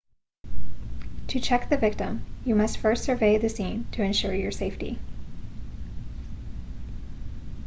to check the victim you must first survey the scene to ensure your safety